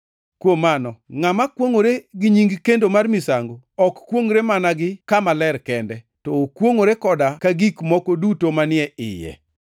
Kuom mano, ngʼama kwongʼore gi nying kendo mar misango ok kwongʼre mana gi kama ler kende, to okwongʼore koda ka gi gik moko duto manie iye.